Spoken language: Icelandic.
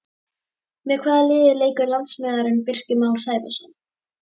Með hvaða liði leikur landsliðsmaðurinn Birkir Már Sævarsson?